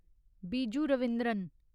Biju Raveendran